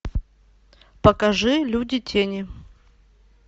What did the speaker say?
покажи люди тени